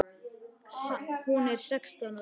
Hún er sextán ára.